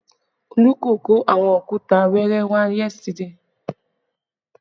Olú kò kó àwọn òkúta wẹẹrẹ wá yesterday